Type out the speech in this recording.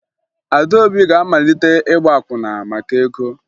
Adaobi ga-amalite ịgba akwụna maka ego